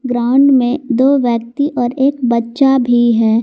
Ground में दो व्यक्ति और एक बच्चा भी है।